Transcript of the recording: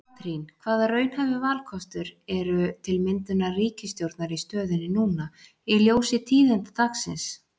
Katrín, hvaða raunhæfi valkostur eru til myndunar ríkisstjórnar í stöðunni núna í ljósi tíðinda dagsins?